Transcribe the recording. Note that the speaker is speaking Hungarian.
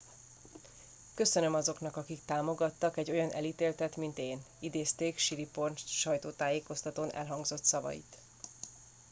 köszönöm azoknak akik támogattak egy olyan elítéltet mint én - idézték siriporn sajtótájékoztatón elhangzott szavait